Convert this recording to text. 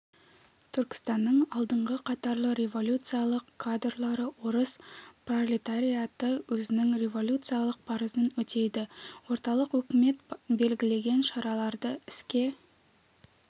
түркістанның алдыңғы қатарлы революциялық кадрлары орыс пролетариаты өзінің революциялық парызын өтейді орталық өкімет белгілеген шараларды іске